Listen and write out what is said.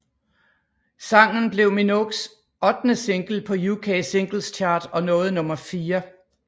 Sangen blev Minogues ottende single på UK Singles Chart og nåede nummer fire